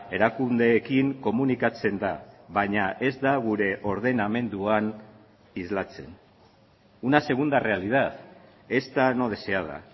erakundeekin komunikatzen da baina ez da gure ordenamenduan islatzen una segunda realidad esta no deseada